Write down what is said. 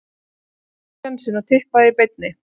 Taktu sénsinn og Tippaðu í beinni.